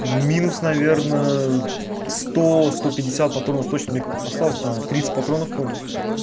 минус наверное сто сто пятьдесят патронов точно осталось там тридцать патронов по моему